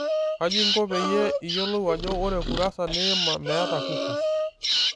kajo inko peyie iyiolou ajo orekurasa niima meeta kukis.